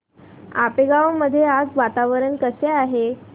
आपेगाव मध्ये आज वातावरण कसे आहे